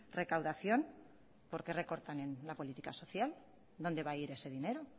recaudación por qué recortan en la política social dónde va a ir ese dinero